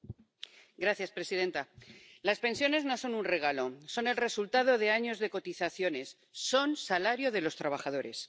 Señora presidenta, las pensiones no son un regalo son el resultado de años de cotizaciones, son salario de los trabajadores.